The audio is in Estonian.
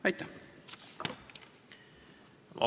Aitäh!